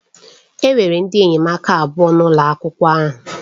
Enwere ndị enyemaka abụọ n'ụlọ akwụkwọ ahụ.